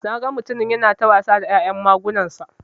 Naga mutumin yana ta wasa da ya'yan magunansa.